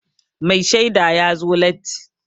Mai shaida ya zo latti.